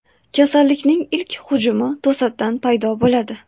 Kasallikning ilk hujumi to‘satdan paydo bo‘ladi.